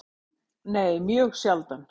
Nei, mjög sjaldan.